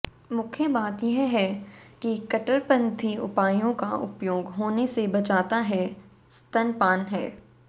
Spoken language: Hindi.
मुख्य बात यह है कि कट्टरपंथी उपायों का उपयोग होने से बचाता है स्तनपान है